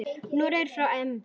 Noregur fer á EM.